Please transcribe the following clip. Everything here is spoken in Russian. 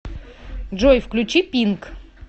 джой включи пинк